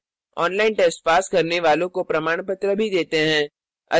online test pass करने वालों को प्रमाणपत्र भी देते हैं